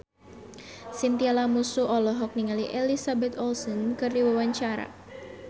Chintya Lamusu olohok ningali Elizabeth Olsen keur diwawancara